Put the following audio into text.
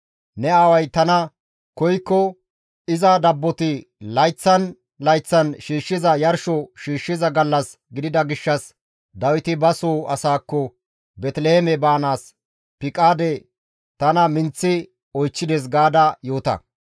Ne aaway tana koykko, ‹Iza dabboti layththan layththan shiishshiza yarsho shiishshiza gallas gidida gishshas Dawiti ba soo asaakko Beeteliheeme baanaas piqaade tana minththi oychchides› gaada yoota.